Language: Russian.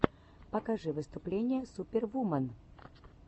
покажи выступления супервумен